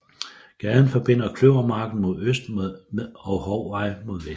Gaden forbinder Kløvermarken mod øst og Hovvej mod vest